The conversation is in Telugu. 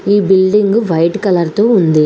ఈ బిల్డింగ్ వైట్ కలర్ తో ఉంది.